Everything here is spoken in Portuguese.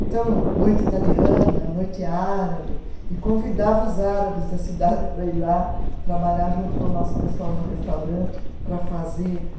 Então, noite italiana, noite árabe, e convidava os árabes da cidade para ir lá trabalhar junto com o nosso pessoal do restaurante para fazer